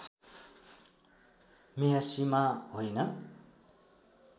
मेहसिमा होइन